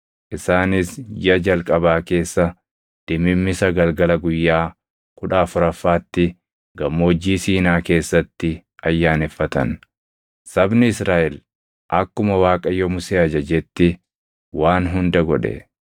isaanis jiʼa jalqabaa keessa dimimmisa galgala guyyaa kudha afuraffaatti Gammoojjii Siinaa keessatti ayyaaneffatan. Sabni Israaʼel akkuma Waaqayyo Musee ajajetti waan hunda godhe.